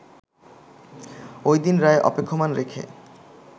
ওই দিন রায় অপেক্ষমাণ রেখে